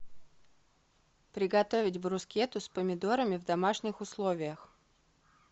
приготовить брускетту с помидорами в домашних условиях